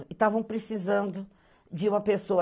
E estavam precisando de uma pessoa.